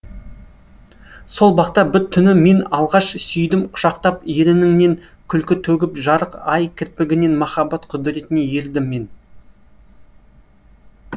сол бақта бір түні мен алғаш сүйдім құшақтап ерініңнен күлкі төгіп жарық ай кірпігінен махаббат құдіретіне ерідім мен